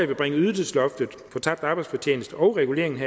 vil bringe ydelsesloftet for tabt arbejdsfortjeneste og reguleringen